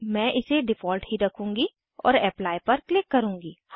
मैं इसे डिफ़ॉल्ट ही रखूंगी और एप्ली पर क्लिक करूंगी